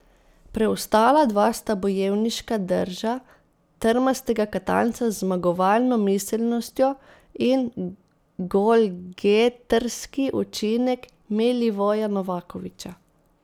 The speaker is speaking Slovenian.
Preostala dva sta bojevniška drža trmastega Katanca z zmagovalno miselnostjo in golgetrski učinek Milivoja Novakovića.